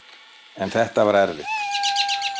En þetta var erfitt.